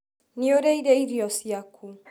Nĩũrĩĩre irio cĩakũ?